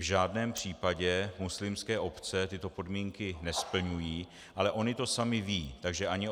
V žádném případě muslimské obce tyto podmínky nesplňuji, ale ony to samy vědí, takže ani